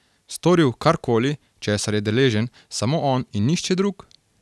Storil kar koli, česar je deležen samo on in nihče drug?